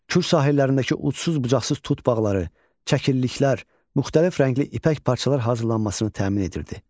Kür sahillərindəki ucsuz-bucaqsız tut bağları, çəkilliklər, müxtəlif rəngli ipək parçalar hazırlanmasını təmin edirdi.